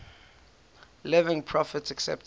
living prophets accepted